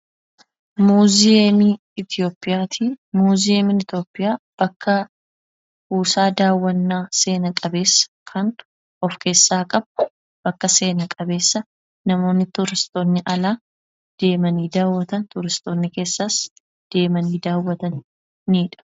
Muuziyeemii Itoophiyaati. Muuziyeemiin Itoophiyaa bakka kuusaa daawwannaa seena qabeessa kan of keessaa qabu, bakka seena qabeessa namoonni tuuristoonni alaa deemanii daawwatan, tuuristoonni keessaas deemanii daawwatanidha.